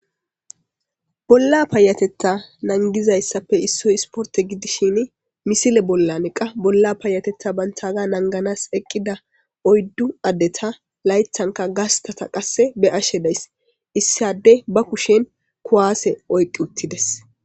Bolla payateta nangizayssappe issoy isporte gidishsgini miisile bollan qa bolla payateththa banttagga nanganas eqqida oyddu addeta layththanka gastata qasse be'ashshe dayss issi adey ba kushen kuwaase oyqqi uttidees